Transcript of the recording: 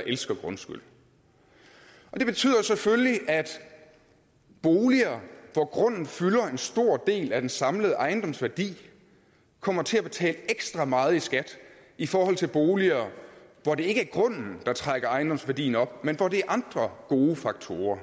elsker grundskyld det betyder selvfølgelig at boliger hvor grunden fylder en stor del af den samlede ejendomsværdi kommer til at betale ekstra meget i skat i forhold til boliger hvor det ikke er grunden der trækker ejendomsværdien op men hvor det er andre gode faktorer